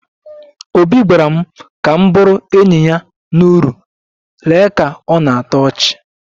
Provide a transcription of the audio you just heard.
Obi gwara m ka m bụrụ enyi ya na uru, lee ka ọ na-atọ ọchị